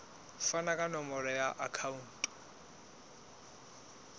fane ka nomoro ya akhauntu